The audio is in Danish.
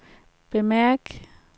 bemærk